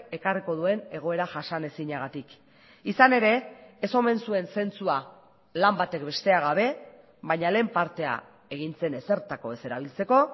ekarriko duen egoera jasanezinagatik izan ere ez omen zuen zentzua lan batek bestea gabe baina lehen partea egin zen ezertako ez erabiltzeko